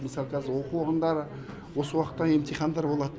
мысалы қазір осы оқу орындары осы уақытта емтихандары болады